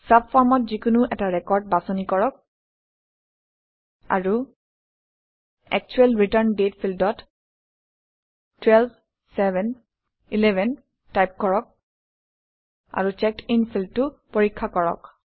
চাবফৰ্মত যিকোনো এটা ৰেকৰ্ড বাছনি কৰক আৰু একচুৱেল ৰিটাৰ্ন ডেট ফিল্ডত 12711 টাইপ কৰক আৰু চেকডিন ফিল্ডটো পৰীক্ষা কৰক